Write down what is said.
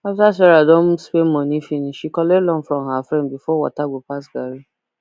after sarah don spend money finish she collect loan from her friend before water go pass garri